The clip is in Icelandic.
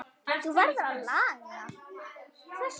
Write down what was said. Það verður að laga.